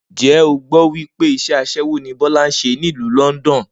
Ǹjé̩ o gbó̩ wí pé is̩é̩ as̩é̩wó ni Bó̩lá ń s̩e nílùú London?